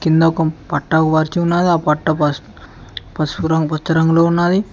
కింద ఒక పట్టా పరుచు ఉన్నది ఆ పట్టా పసుపు రంగులో ఉన్నది.